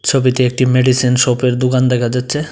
ছবিতে একটি মেডিসিন শপের দোকান দেখা যাচ্ছে।